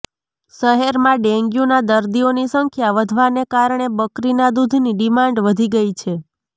શહેરમાં ડેંગ્ન્યૂંના દર્દીઓની સંખ્યા વધવાને કારણે બકરીના દૂધની ડિમાન્ડ વધી ગઇ છે